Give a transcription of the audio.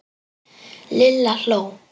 Lilla hló.